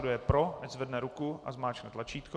Kdo je pro, ať zvedne ruku a zmáčkne tlačítko.